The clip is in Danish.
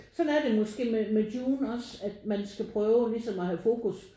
Sådan er det måske med Dune også at man skal prøve ligesom at have fokus